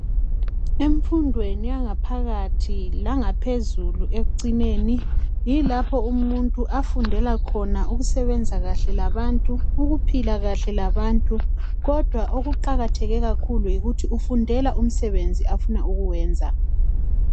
Emfundweni yangaphakathi langaphezulu ekucineni yilapha umuntu afundela khona ngokuphila kahle labantu lokusebenza kahle labantu kodwa okuqakatheke kakhulu yikuthi ufundela umsebenzi afuna ukuwenza